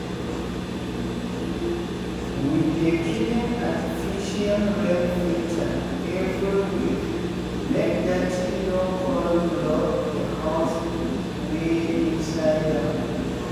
we dey clean artificial rain filter eveyweekmake dirty no con block th holes wey inside am